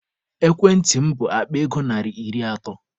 Ekwentị m bụ Akpa ego narị iri atọ.